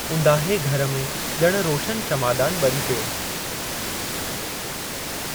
ऊंदाहे घर में ॼणु रोशनु शमादानु ब॒री पियो।